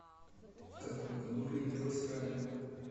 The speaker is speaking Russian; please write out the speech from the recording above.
в каком году появилось радио